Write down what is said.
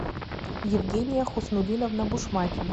евгения хуснуллиновна бушмакина